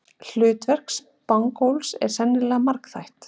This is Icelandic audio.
hlutverk spangóls er sennilega margþætt